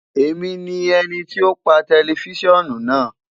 Emi ni ẹniti o pa tẹlifisiọnu naa